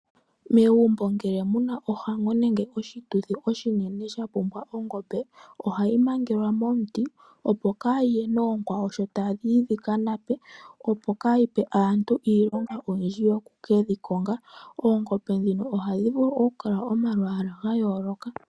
Megumbo ngele muna ohango nenge oshituthi oshinene shapumbwa ongombe ohayi mangelwa momuti opo kayi ye noonkwawo sho tadhi yi dhika nape opo kayipe aantu iilong oyindji yoku keyi konga, oongombe ndhino ohadhi vulu oku kala omalwala ga yooloka.